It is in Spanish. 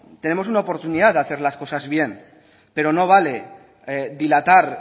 tenemos una oportunidad de hacer las cosas bien pero no vale dilatar